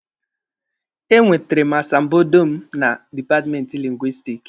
E nwetere m asambodo m na dipatmenti Lingwisitiki.